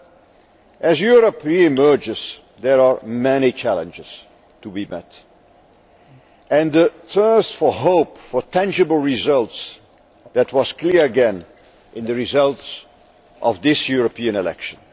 But as Europe re emerges, there are many challenges to be met. A thirst for hope, for tangible results that was clear, again, in the results of this European election.